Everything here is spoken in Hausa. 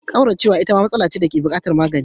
Kauracewa itama matsala ce dake bukatar magani.